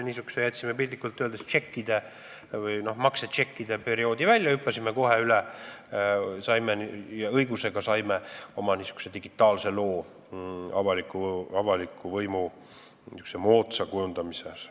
Sellega me jätsime piltlikult öeldes maksetšekkide perioodi välja, hüppasime sellest kohe üle ja saime – ja õigusega saime – oma n-ö digitaalse loo avaliku võimu moodsast kujundamisest.